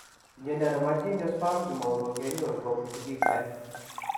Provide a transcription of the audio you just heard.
Mnyondo nebo geniospasm kimongo kenyoru kobun sigiik en